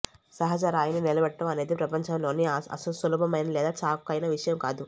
సహజ రాయిని నిలబెట్టడం అనేది ప్రపంచంలోని సులభమైన లేదా చౌకైన విషయం కాదు